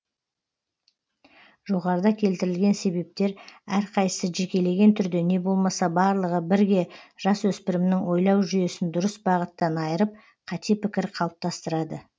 жоғарыда келтірілген себептер әрқайсысы жекелеген түрде не болмаса барлығы бірге жас өспірімнің ойлау жүйесін дұрыс бағыттан айырып қате пікір қалыптастырады